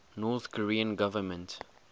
north korean government